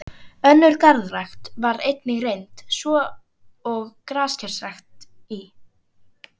Önnur garðrækt var einnig reynd, svo og grasrækt í